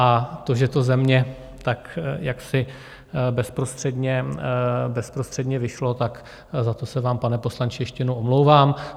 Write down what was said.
A to, že to ze mě tak jaksi bezprostředně vyšlo, tak za to se vám, pane poslanče, ještě jednou omlouvám.